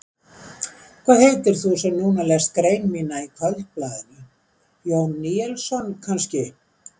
Hvað heitir þú sem núna lest grein mína í Kvöldblaðinu, Jón Níelsson kannski?